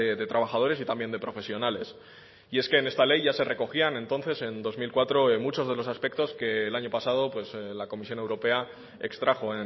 de trabajadores y también de profesionales y es que en esta ley ya se recogían entonces en dos mil cuatro muchos de los aspectos que el año pasado la comisión europea extrajo